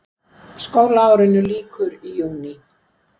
Skólaárinu lýkur í júní.